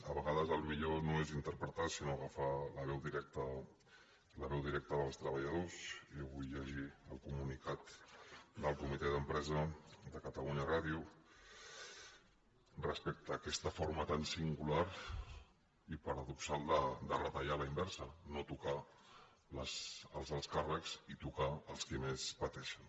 a vegades el millor no és interpretar sinó agafar la veu directa dels treballadors jo vull llegir el comunicat del comitè d’empresa de catalunya ràdio respecte a aquesta forma tan singular i paradoxal de retallar a la inversa no tocar els alts càrrecs i tocar els qui més pateixen